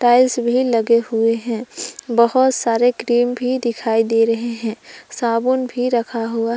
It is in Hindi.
टाइल्स भी लगे हुए हैं बहुत सारे क्रीम भी दिखाई दे रहे हैं साबुन भी रखा हुआ--